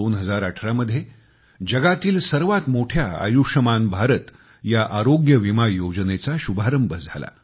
2018 मध्ये जगातील सर्वात मोठ्या आयुष्यमान भारत ह्या आरोग्य विमा योजनेचा शुभारंभ झाला